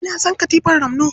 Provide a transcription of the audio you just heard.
Eh, na san katifar ramno.